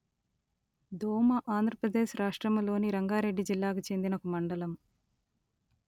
దోమ ఆంధ్ర ప్రదేశ్ రాష్ట్రములోని రంగారెడ్డి జిల్లాకు చెందిన ఒక మండలము